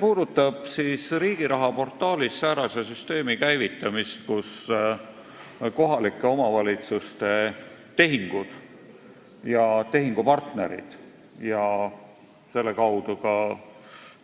Jutt on riigiraha portaalis säärase süsteemi käivitamisest, kus kohalike omavalitsuste tehingud – sh tehingupartnerid ehk siis